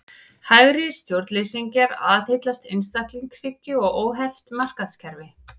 Hægri stjórnleysingjar aðhyllast einstaklingshyggju og óheft markaðskerfi.